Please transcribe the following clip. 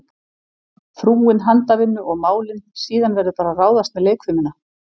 Frúin handavinnu og málin, síðan verður bara að ráðast með leikfimina.